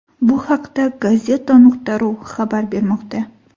Bu haqda Gazeta.ru xabar bermoqda .